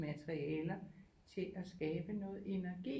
Materialer til at skabe noget energi